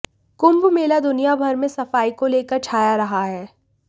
कुंभ मेला दुनिया भर में सफाई को लेकर छाया रहा है